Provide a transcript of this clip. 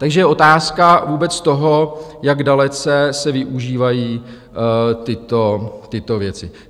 Takže je otázka vůbec toho, jak dalece se využívají tyto věci.